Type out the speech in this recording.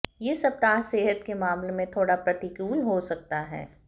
ये सप्ताह सेहत के मामले में थोड़ा प्रतिकूल हो सकता है